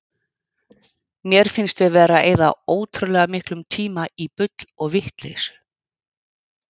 Mér finnst við vera að eyða ótrúlega miklum tíma í bull og vitleysu.